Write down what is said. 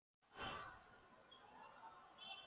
Hún ýtti á undan sér hjólastól.